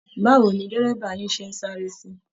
Báwo ni dẹ́rẹ̀bà yín ṣe ń sáré sí?